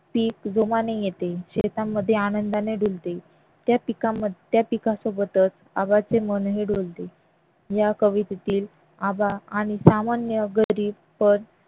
पीक जोमाने येते शेतामध्ये आनंदाने डुलते त्या पिकासोबतच आबांचे मन ही डोलते या कवितेतील आबा आणि सामान्य गरीब पण